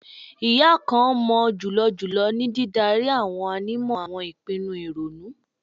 Iya kan mọ julọ julọ ni didari awọn ànímọ awọn ipinnu ironu